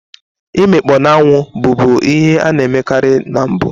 Imikpoo n'anwụ, bụbu ihe a na-emekarị na mbụ.